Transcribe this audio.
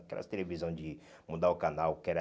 Aquelas televisões de mudar o canal, que era...